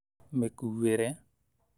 Mĩkũĩre